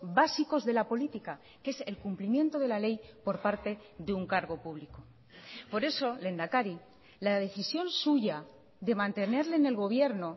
básicos de la política que es el cumplimiento de la ley por parte de un cargo público por eso lehendakari la decisión suya de mantenerle en el gobierno